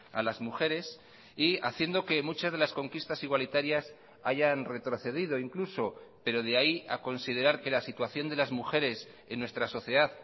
a las mujeres y haciendo que muchas de las conquistas igualitarias hayan retrocedido incluso pero de ahí a considerar que la situación de las mujeres en nuestra sociedad